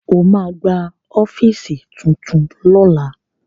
Ó ma gba ọ́fíìsì tuntun lọ́la